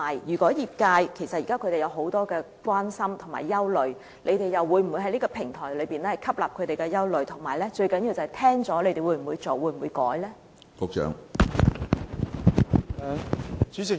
其實，業界現時有很多關注和憂慮，政府又會否透過這個平台照顧他們的憂慮，最重要的是政府在聆聽後會否加以處理或修改立法建議呢？